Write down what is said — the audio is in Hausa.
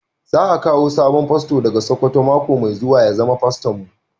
Za a kawo sabon fasto daga sokoto mako mai zuwa ya zama faston mu.